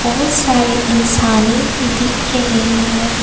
बहुत सारे इंसाने भी दिख रहे हैं।